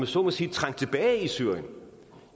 så må sige trængt tilbage i syrien